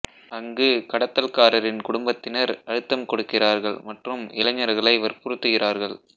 அங்கு கடத்தல்காரரின் குடும்பத்தினர் அழுத்தம் கொடுக்கிறார்கள் மற்றும் இளைஞர்களை வற்புறுத்துகிறார்கள்